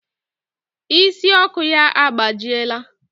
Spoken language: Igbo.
Ịsị Ọkụ ya agbajiela.